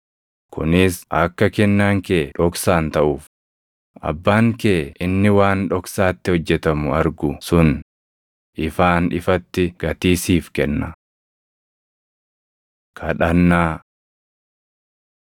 kunis akka kennaan kee dhoksaan taʼuuf. Abbaan kee inni waan dhoksaatti hojjetamu argu sun ifaan ifatti gatii siif kenna. Kadhannaa 6:9‑13 kwf – Luq 11:2‑4